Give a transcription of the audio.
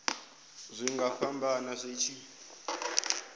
zwi nga fhambana zwi tshi